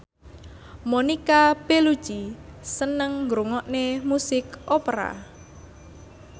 Monica Belluci seneng ngrungokne musik opera